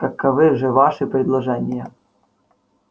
каковы же ваши предложения